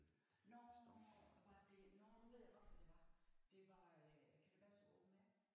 Nårh var det nårh nu ved jeg godt hvad det var det var kan det passe det open air?